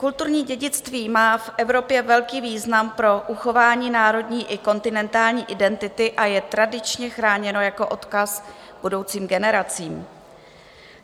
Kulturní dědictví má v Evropě velký význam pro uchování národní i kontinentální identity a je tradičně chráněno jako odkaz budoucím generacím.